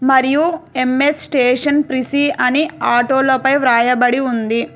మరియు M S station PC అని auto లపై రాయబడి ఉంది